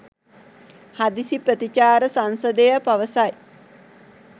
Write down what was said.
හදිසි ප්‍රතිචාර සංසදය පවසයි.